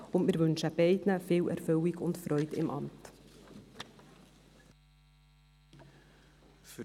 Beiden wünschen wir viel Erfüllung und Freude im Amt.